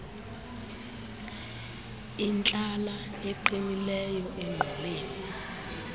intlala eqinileyo engquleni